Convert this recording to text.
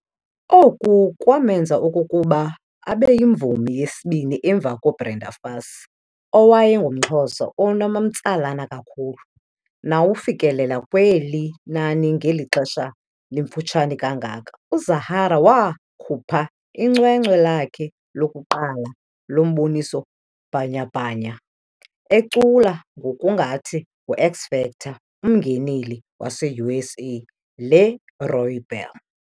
Oku kwamenza okokuba abeyimvumi yesibini emva koBrenda Fassie, owayengumXhosa onomtsalane kakhulu, nowafikelela kweli nani ngeli xesha limfutshane kangako. UZahara wakhupha icwecwe lakhe lokuqala lomboniso bhanyabhanya ecula ngokungathi ngu"X-Factor" umngeneli waseUSA LeRoy Bell.